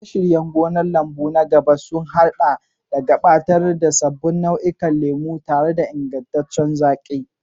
Shirye-shiryen gonar lambu na gaba sun haɗa da gabatar da sabbin nau'ikan lemu tare da ingantaccen zaƙi.